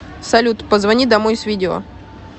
салют позвони домой с видео